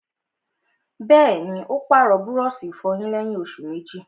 Bẹ́ẹ̀ni, ó pàrọ̀ búrọ̀sì ìfọyín lẹ́yìn òsù méjì